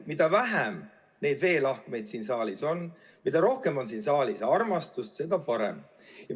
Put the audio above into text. Mida vähem neid veelahkmeid siin saalis on ja mida rohkem on siin saalis armastust, seda parem.